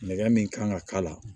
Nɛgɛ min kan ka k'a la